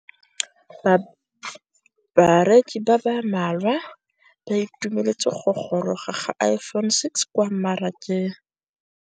Bareki ba ba malwa ba ituemeletse go gôrôga ga Iphone6 kwa mmarakeng.